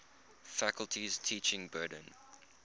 faculty's teaching burden